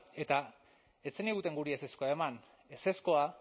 eta ez zeniguten guri ezezkoa eman ezezkoa